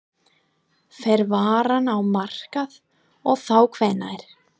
Fer varan á markað og þá hvenær?